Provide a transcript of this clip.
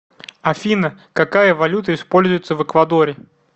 афина какая валюта используется в эквадоре